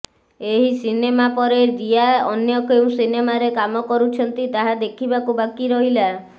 ଏହି ସିନେମାପରେ ରୀୟା ଅନ୍ୟ କେଉଁ ସିନେମାରେ କାମ କରୁଛନ୍ତି ତାହା ଦେଖିବାକୁ ବାକି ରହିଲା